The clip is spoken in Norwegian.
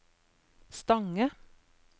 Stange